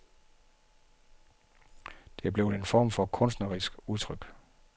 Det er blevet en form for kunstnerisk udtryk.